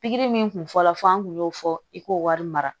Pikiri min tun fɔlɔ fɔ an tun y'o fɔ i k'o wari mara